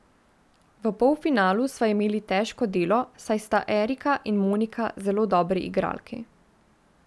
V polfinalu sva imeli težko delo, saj sta Erika in Monika zelo dobri igralki.